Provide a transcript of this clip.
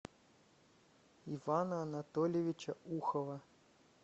ивана анатольевича ухова